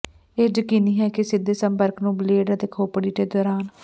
ਇਹ ਯਕੀਨੀ ਹੈ ਕਿ ਸਿੱਧੇ ਸੰਪਰਕ ਨੂੰ ਬਲੇਡ ਅਤੇ ਖੋਪੜੀ ਦੇ ਦੌਰਾਨ